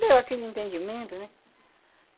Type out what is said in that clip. Deu aquele entendimento, né?